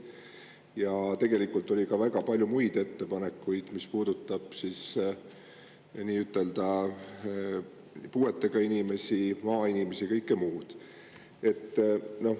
Ja tegelikult oli ka väga palju muid ettepanekuid, mis puudutasid puuetega inimesi, maainimesi ja muudki.